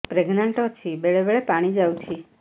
pregnant ଅଛି ବେଳେ ବେଳେ ପାଣି ଯାଉଛି